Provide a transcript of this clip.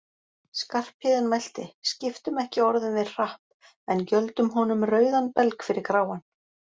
Skarphéðinn mælti: Skiptum ekki orðum við Hrapp, en gjöldum honum rauðan belg fyrir gráan